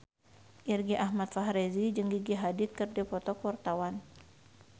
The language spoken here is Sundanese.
Irgi Ahmad Fahrezi jeung Gigi Hadid keur dipoto ku wartawan